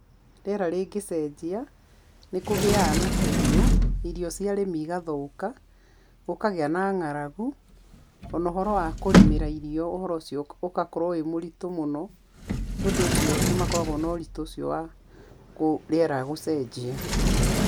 Rĩera rĩngĩcenjia, nĩ kũgĩaga na kĩguũ, irio cia arĩmĩ ĩgathũka, gũkagĩa na ng'aragu, ona ũhoro wa kũrĩmĩra irio ũhoro ũcio ũgakorwo wĩ mũritũ mũno, nĩũndũ ũcio nĩ makoragwo na ũritũ ũcio wa rĩera gũcenjia.